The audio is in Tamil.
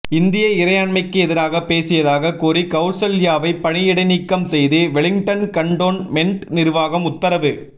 இந்திய இறையாண்மைக்கு எதிராக பேசியதாக கூறி கவுசல்யாவை பணி இடைநீக்கம் செய்து வெலிங்டன் கன்டோன்மெண்ட் நிர்வாகம் உத்தரவு